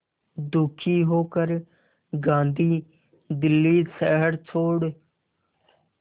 दुखी होकर गांधी दिल्ली शहर छोड़